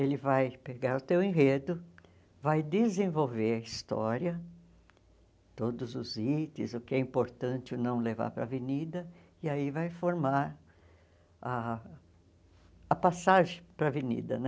Ele vai pegar o teu enredo, vai desenvolver a história, todos os itens, o que é importante ou não levar para a avenida, e aí vai formar ah a passagem para a avenida, né?